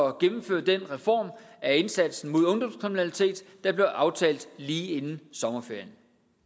at gennemføre den reform af indsatsen mod ungdomskriminalitet der blev aftalt lige inden sommerferien